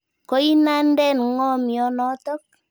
Koinanden ng'o mianotok?